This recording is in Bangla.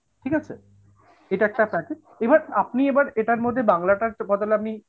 ঠিক আছে? এইটা একটা আছে, এবার আপনি এবার এটার মধ্যে বাংলাটার বদলে আপনি,